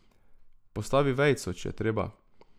Postavi vejico, če je treba.